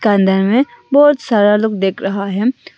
अंदर में बहुत सारा लोग दिख रहा है।